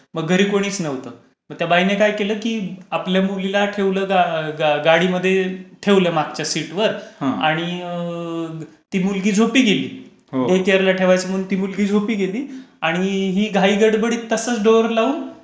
मग घरी कोणीच नव्हतं. मग त्या बाईने काय केलं की आपल्या मुलीला ठेवलं गाडीमध्ये मागच्या सीटवर आणि ती मुलगी झोपी गेली. डे केअरला ठेवायचा म्हणून ती मुलगी झोपी गेली. आणि ही घाईगडबडीत तसाच डोर लावून